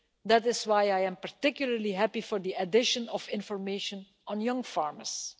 That is why I particularly welcome the addition of information on young farmers.